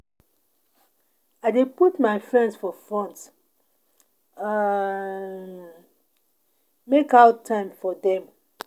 I dey put my friends for front, um make out time for dem.